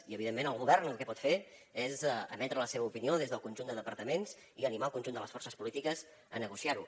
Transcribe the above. i evidentment el govern el que pot fer és emetre la seva opinió des del conjunt de departaments i animar el conjunt de les forces polítiques a negociar ho